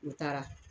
U taara